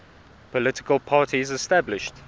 political parties established